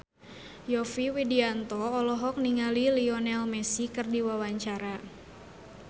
Yovie Widianto olohok ningali Lionel Messi keur diwawancara